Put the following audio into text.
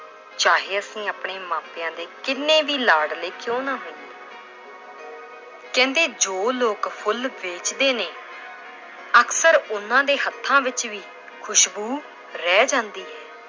ਚਾਹੇ ਅਸੀਂ ਆਪਣੇ ਮਾਪਿਆਂ ਦੇ ਕਿੰਨੇ ਵੀ ਲਾਡਲੇ ਕਿਉਂ ਨਾ ਹੋਈਏ l ਕਹਿੰਦੇ ਜੋ ਲੋਕ ਫੁੱਲ ਵੇਚਦੇ ਨੇ ਅਕਸਰ ਉਹਨਾਂ ਦੇ ਹੱਥਾਂ ਵਿੱਚ ਵੀ ਖ਼ੁਸਬੂ ਰਹਿ ਜਾਂਦੀ ਹੈ।